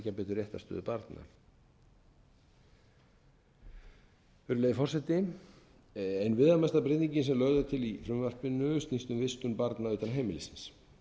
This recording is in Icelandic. réttarstöðu barna virðulegi forseti ein viðamesta breytingin sem lögð er til í frumvarpinu snýst um vistun barna utan heimilis